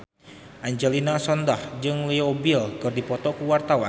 Angelina Sondakh jeung Leo Bill keur dipoto ku wartawan